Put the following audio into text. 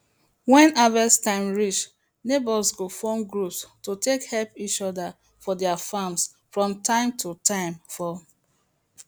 when harvest time reach neighbours go form groups to take help each other for their farms from time to time for